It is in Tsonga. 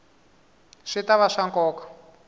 swi ta va swa nkoka